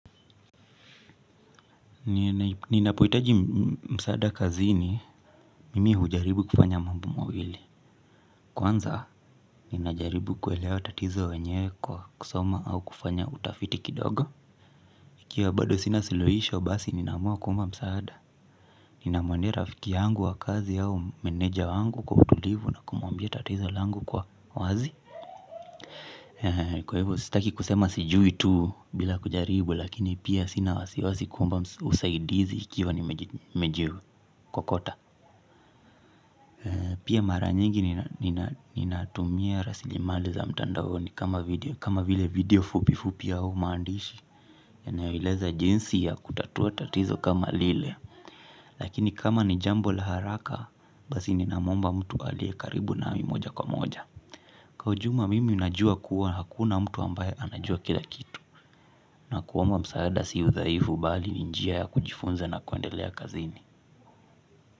Ninapohitaji msaada kazini mimi hujaribu kufanya mambo mawili. Kwanza ninajaribu kuelewa tatizo wenye kwa kusoma au kufanya utafiti kidogo. Ikiwa bado sina suluhisho basi nina amua kuomba msaada. Nina muendea rafiki yangu wa kazi au meneja wangu kwa utulivu na kumuambia tatizo langu kwa wazi. Kwa hivyo sitaki kusema sijui tu bila kujaribu lakini pia sina wasiwasi kuomba usaidizi ikiwa nimeji kokota. Pia mara nyingi ninatumia rasili mali za mtandaoni kama video fupi fupi au maandishi yanayo eleza jinsi ya kutatua tatizo kama lile. Lakini kama ni jambo la haraka basi ninamuomba mtu alie karibu nami moja kwa moja. Kwa ujumla mimi najua kuwa hakuna mtu ambaye anajua kila kitu. Na kuomba msaada sio udhaifu bali ni njia ya kujifunza na kuendelea kazini.